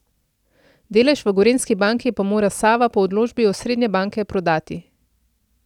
Delež v Gorenjski banki pa mora Sava po odločbi osrednje banke, prodati.